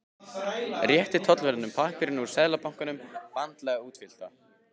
Rétti tollverðinum pappírana úr Seðlabankanum, vandlega útfyllta.